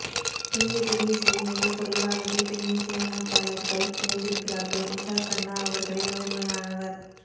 இந்திய திரையிசையில் மிகக்குறைவாகவே பெண் இசையமைப்பாளர்கள் இருந்திருக்கிறார்கள் உஷா கன்னா அவர்களில் முதன்மையானவர்